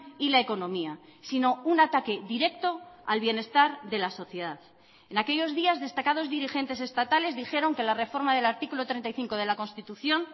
y la economía sino un ataque directo al bienestar de la sociedad en aquellos días destacados dirigentes estatales dijeron que la reforma del artículo treinta y cinco de la constitución